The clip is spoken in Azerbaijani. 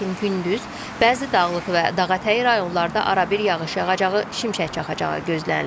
lakin gündüz bəzi dağlıq və dağətəyi rayonlarda arabir yağış yağacağı, şimşək çaxacağı gözlənilir.